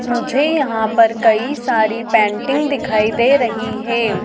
मुझे यहां पर कई सारी पेंटिंग्स दिखाई दे रही है।